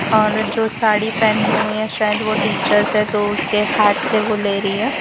और जो साड़ी पहनी हुई है शायद वो टीचर से तो उसके हाथ से वो ले रही है।